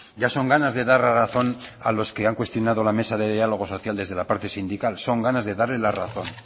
ya son ganas de dar la razón a los que han cuestionada la mesa de diálogo social desde la parte sindical son ganas de darle la razón